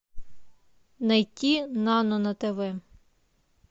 найти нано на тв